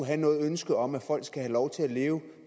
have noget ønske om at folk skal have lov til at leve